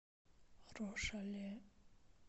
рошале